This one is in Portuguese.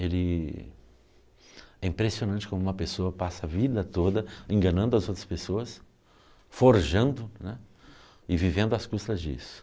Ele é impressionante como uma pessoa passa a vida toda enganando as outras pessoas, forjando né, e vivendo às custas disso.